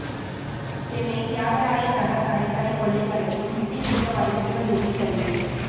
சென்னை தியாகராயர் நகர் நகைக்கடை கொள்ளை வழக்கில் முக்கிய குற்றவாளி திருவள்ளூரில் கைது